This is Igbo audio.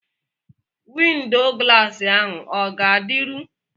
Windo glaasi ahụ o ga-adịru?